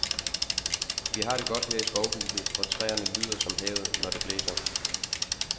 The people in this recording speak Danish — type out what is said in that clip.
Vi har det godt her i skovhuset, hvor træerne lyder som havet, når det blæser.